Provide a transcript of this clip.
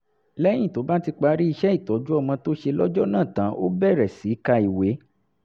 lẹ́yìn tó bá ti parí iṣẹ́ ìtọ́jú ọmọ tó ṣe lọ́jọ́ náà tán ó bẹ̀rẹ̀ sí ka ìwé